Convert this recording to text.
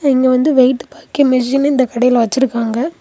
இங்க வந்து வெயிட் பாக்க மெஷினு இந்த கடையில வச்சிருக்காங்க.